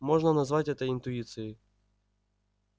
можно назвать это интуицией